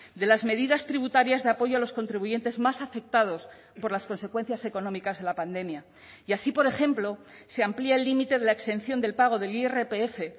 de las medidas tributarias de apoyo a los contribuyentes más afectados por las consecuencias económicas de la pandemia y así por ejemplo se amplía el límite de la exención del pago del irpf